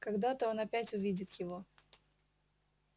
когда-то он опять увидит его